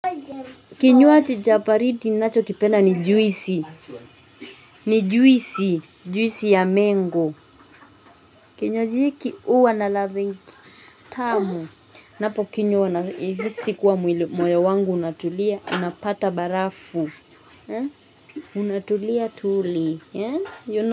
Kinywaji cha baridi ninachokipenda ni juisi. Ni juisi juisi ya mango. Kinywaji hiki huwa na ladha tamu. Napo kinywa nahisi moyo wangu unatulia, unapata barafu, unatulia tuli, you know.